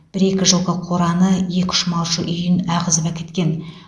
бір екі жылқы қораны екі үш малшы үйін ағызып әкеткен